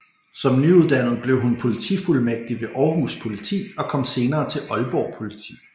Som nyuddannet blev hun politifuldmægtig ved Århus Politi og kom senere til Aalborg Politi